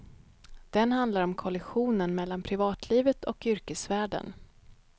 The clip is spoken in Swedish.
Den handlar om kollisionen mellan privatlivet och yrkesvärlden.